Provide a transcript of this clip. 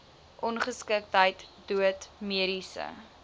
ongeskiktheid dood mediese